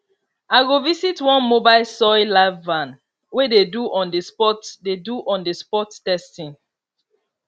i go visit one mobile soil lab van wey dey do onthespot dey do onthespot testing